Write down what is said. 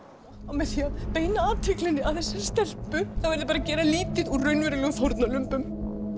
með því að beina athyglinni að þessari stelpu er bara verið að gera lítið úr raunverulegum fórnarlömbum